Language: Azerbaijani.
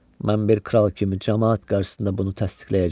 Mən bir kral kimi camaat qarşısında bunu təsdiqləyəcəyəm.